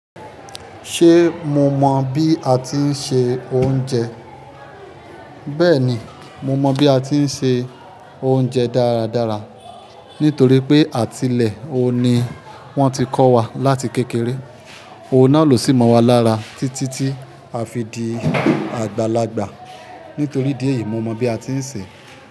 Ṣé mo mọ bi a ti ń se oúnjẹ? Bẹ́ẹ̀ni, mo mọ bi a ti ń se oúnjẹ dáradára nítorí pé àtilẹ̀ òun ni wọ́n ti kọ́ wa láti kékeré. Ohun náà ló sì mọ́ wa lára títí tí a fi di àgbàlagbà. Nítorí idí ẹ̀yìí, mo mọ bi a ti ń sè.